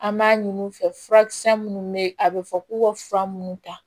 An b'a ɲin'u fɛ furakisɛ minnu bɛ yen a bɛ fɔ k'u ka fura minnu ta